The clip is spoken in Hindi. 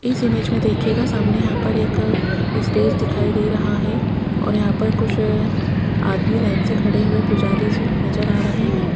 इस इमेज में देखिएगा सामने यहां पर एक स्टेज दिखाई दे रहा है और यहां पर कुछ आदमी लाइन से खड़े हुए पुजारी जी नजर आ रहे है।